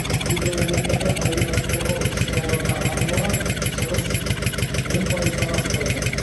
кейбір облыстарда табиғат қорғау іс шараларына арналған шығыс он пайыздан аспайтын